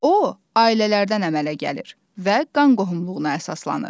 O, ailələrdən əmələ gəlir və qan qohumluğuna əsaslanır.